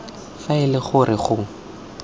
fa e le gore go